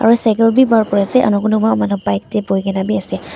Aro cycle bi kuri ase aro kunuba manu bike te buhi kena bi ase.